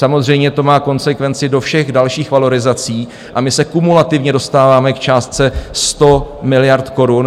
Samozřejmě to má konsekvenci do všech dalších valorizací a my se kumulativně dostáváme k částce 100 miliard korun.